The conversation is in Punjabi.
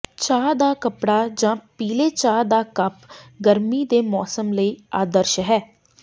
ਚਾਹ ਦਾ ਕੱਪੜਾ ਜਾਂ ਪੀਲੇ ਚਾਹ ਦਾ ਕੱਪ ਗਰਮੀ ਦੇ ਮੌਸਮ ਲਈ ਆਦਰਸ਼ ਹੈ